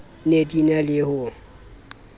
ne di na le ho